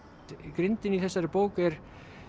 grindin í þessari bók er